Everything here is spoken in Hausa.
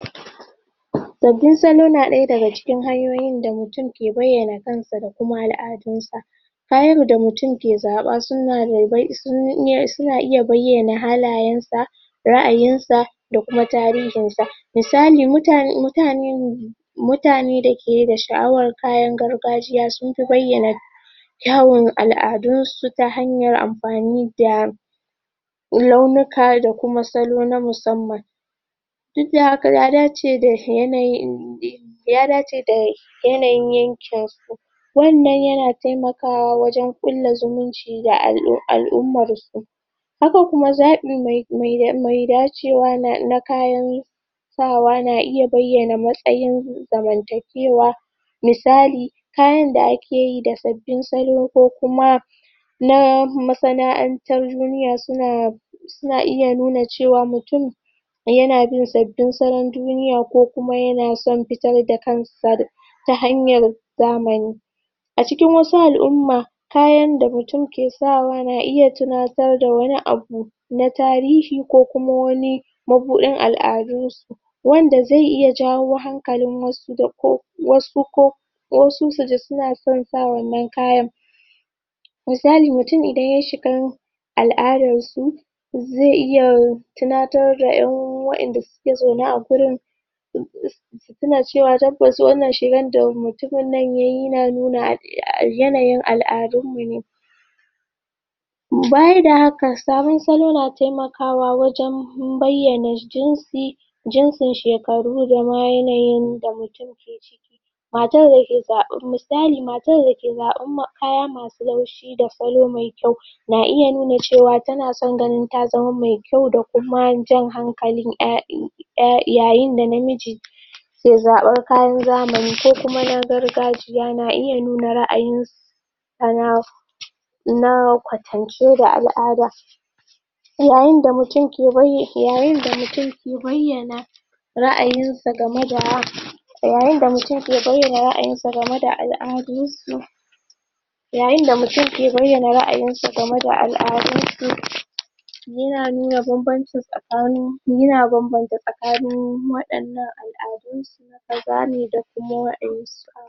Sabbin salo na ɗaya daga ciki hanyoyin da mutum ke bayyana kansa da kuma al'adunsa. Kayan da mutum ke zaɓa su na in eh, su na iya bayyana halayen sa, ra'ayinsa da kuma tarihinsa. Misali mutane mutane mutane da ke da sha'awar kayan gargajiya sun fi bayyana kyawon al'adunsu ta hanyar amfani da launuka da kuma salo na musamman. Duk da haka ya dace da yanayin ya dace da yanayin yankin. Wannan ya na taimakawa wajen ƙulla zumunci da al'ummar su. Haka kuma zaɓi mai mai mai dacewa na kayan sawa na iya bayyana matsayin zamantakewa Misali, kayan da ake yi da sabbi salo ko kuma na masana'antar duniya su na su na iya nuna cewa mutum ya na bin sabbin salon duniya ko kuma ya na son fitar da kansa ta hanyar zamani. A cikin wasu al'umma kayan da mutum ke sawa na iya tunatar da wani abu na tarihi ko kuma wani mabuɗin al'adu wanda zai iya jawo hankalin wasu da ko wasu ko ko su suji su na son sa wannan kayan. Misali mutum idan ya shiga al'adar su zai iya tunatar da ƴan waƴanda suke zaune a gurin su tuna cewa tabbas wannan shigan da ya na nuna yanayin al'adun mu ne. Baya da haka sabon salo na taimaka wa wajen bayyana jinsi jinsin shekaru da ma yanayin mutum matar da ke da, misali matar da ke da ke zaɓa kaya masu laushi da salo mai kyau na iya nuna cewa ta na son ganin ta zama mai kyau da kuma jan hankalin ƴa i ƴa yayin da namiji ke zaɓar kayan zamani ko kuma na gargajiya na iya nun ra'ayin sa na na kwatance da al'ada. Yayin da mutum ke bayy, yayin da mutum ke bayyana ra'ayinsa game da yayin da mutum ke bayyana ra'ayinsa game da al'adun su Yayin da mutum ke bayyana ra'ayinsa game da al'adun su ya nuna bam-banci tsakanin ya na bam-banta tsakanin waɗannan al'adu kaza ne da kuma waƴan.